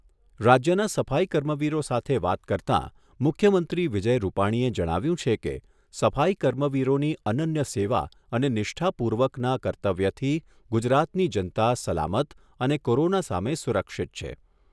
રાજ્યના સફાઈ કર્મવીરો સાથે વાત કરતાં મુખ્યમંત્રી વિજય રૂપાણીએ જણાવ્યુંં છે કે, સફાઈ કર્મવીરોની અનન્ય સેવા અને નિષ્ઠાપૂર્વકના કર્તવ્યથી ગુજરાતની જનતા સલામત અને કોરોના સામે સુરક્ષિત છે.